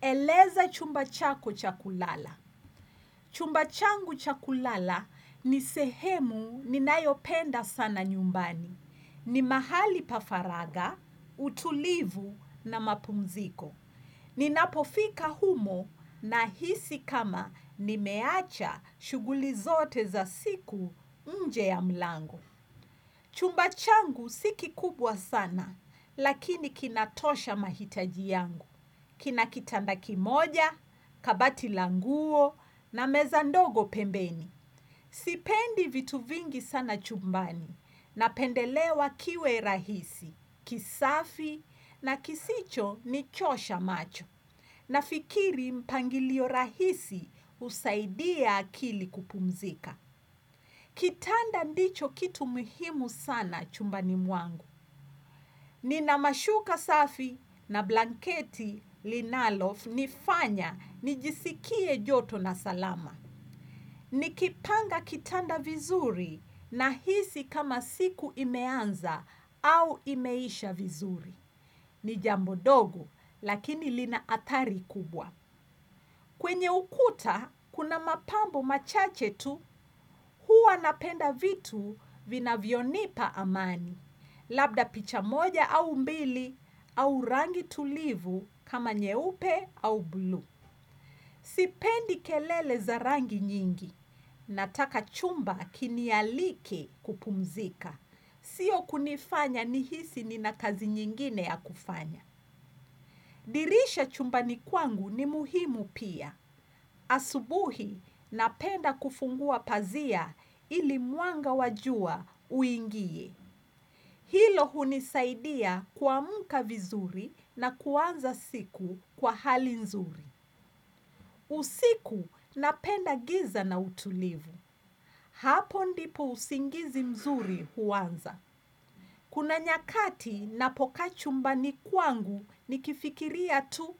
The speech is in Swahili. Eleza chumba chako cha kulala. Chumba changu cha kulala ni sehemu ninayopenda sana nyumbani. Ni mahali pafaraga, utulivu na mapumziko. Ninapofika humo nahisi kama nimeacha shughuli zote za siku nje ya mlango. Chumba changu si kikubwa sana, lakini kinatosha mahitaji yangu. Kina kitanda kimoja, kabati la nguo na meza ndogo pembeni. Sipendi vitu vingi sana chumbani napendelewa kiwe rahisi, kisafi na kisichonichosha macho. Nafikiri mpangilio rahisi husaidia akili kupumzika. Kitanda ndicho kitu muhimu sana chumbani mwangu. Ninamashuka safi na blanketi linalonifanya nijisikie joto na salama. Nikipanga kitanda vizuri nahisi kama siku imeanza au imeisha vizuri. Ni jambo ndogo lakini lina athari kubwa. Kwenye ukuta kuna mapambo machache tu. Huwa napenda vitu vinavyonipa amani. Labda picha moja au mbili au rangi tulivu kama nyeupe au blue. Sipendi kelele za rangi nyingi. Nataka chumba kinialike kupumzika. Sio kunifanya nihisi nina kazi nyingine ya kufanya. Dirisha chumbani kwangu ni muhimu pia. Asubuhi napenda kufungua pazia ili mwanga wa jua uingie. Hilo hunisaidia kuamka vizuri na kuanza siku kwa hali nzuri. Usiku napenda giza na utulivu. Hapo ndipo usingizi mzuri huanza. Kuna nyakati napokaa chumbani kwangu nikifikiria tu.